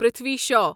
Prithvi Shah